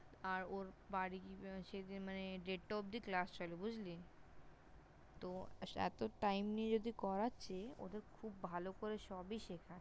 আর ওর বাড়ি সেদিন মানে দেড়টা অবধি Class চলে বুঝলি? তো এত Time নিয়ে যদি করাচ্ছে ওদের খুব ভালো করে সব-ই শেখায়।